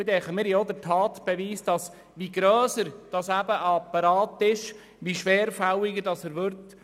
Ich denke, wir haben auch den Tatbeweis dafür, dass je grösser ein Apparat ist, er desto schwerfälliger wird.